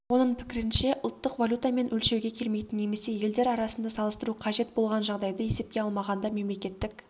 оның пікірінше ұлттық валютамен өлшеуге келмейтін немесе елдер арасында салыстыру қажет болған жағдайды есепке алмағанда мемлекеттік